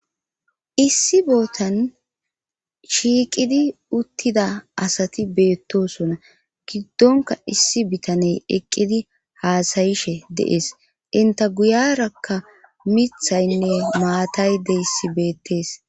Issi bootan shiiqidi uttida asati beettosona giddonka issi bitaney eqqidi haasayishe dees inta guyarakka mithaynne maatay deyssi beettees.